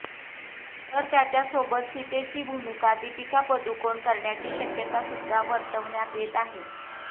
तर त्याच्यासोबत सीतेची भूमिका दीपिका पदुकोण करण्याची शक्यता सुद्धा वर्तवण्यात येत होती